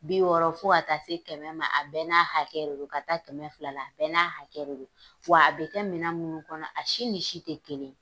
Bi yɔrɔ? fo a taa se kɛmɛ ma? a bɛ n'a hakɛ re ron, ka taa kɛmɛ fila la, a bɛɛ n'a hakɛ re ron, wa a bi kɛ minɛn minnu kɔnɔ a si ni si tɛ kelen.